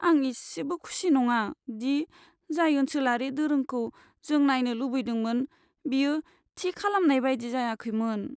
आं एसेबो खुसि नङा दि जाय ओनसोलारि दोरोंखौ जों नायनो लुबैदोंमोन बेयो थि खालामनाय बायदि जायाखैमोन।